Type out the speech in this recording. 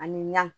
Ani ɲan